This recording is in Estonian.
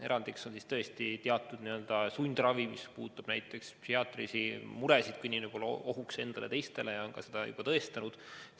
Erandiks on sundravi, mis puudutab näiteks psühhiaatrilisi muresid, kui inimene võib olla ohuks endale ja teistele ning on seda juba ka tõestanud.